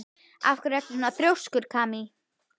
Af hverju ertu svona þrjóskur, Kamí?